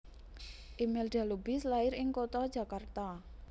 Imelda Lubis lair ing kutha Jakarta